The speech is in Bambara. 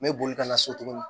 N bɛ boli ka na so tuguni